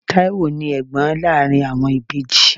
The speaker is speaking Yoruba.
Taiwo ni Ẹ̀gbọ́n láàárín àwọn ìbejì.